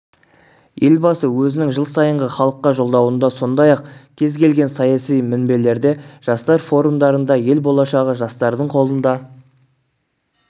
елбасы өзінің жыл сайынғы халыққа жолдауында сондай-ақ кез-келген саяси мінбелерде жастар форумдарында ел болашағы жастардың қолыңда